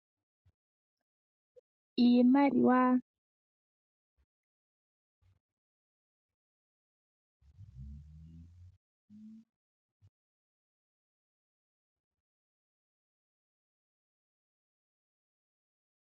Iimaliwa. Iimaliwa oya simana unene oshoka aantu oyendji ohaye yi longitha oku landa noku futa oompumbwe dhawo dha yoolokathana.